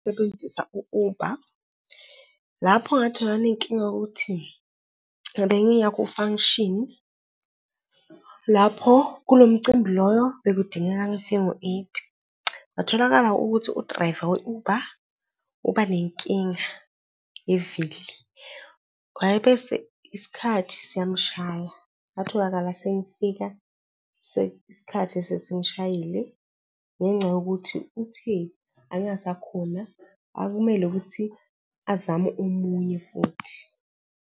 sebenzisa u-Uber lapho ngathola nginenkinga yokuthi bengiya ku-function. Lapho kulo mcimbi loyo bekudingeka ngifike ngo-eight, kwatholakala ukuthi u-driver we-Uber ubanenkinga yevili, wayebese isikhathi siyamshaya. Ngatholakala sengifika isikhathi sesingishayile ngenxa yokuthi uthe angasakhona. Akumele ukuthi azame omunye futhi.